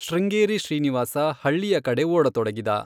ಶೃಂಗೇರಿ ಶ್ರೀನಿವಾಸ ಹಳ್ಳಿಯ ಕಡೆ ಓಡತೊಡಗಿದ.